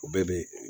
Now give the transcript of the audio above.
O bɛɛ bɛ